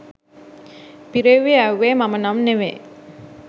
පිරෙවුවේ යැවුවේ මම නම් නෙවේ